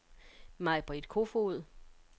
Maj-Britt Koefoed